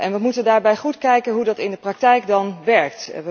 We moeten daarbij goed kijken hoe dat in de praktijk dan werkt.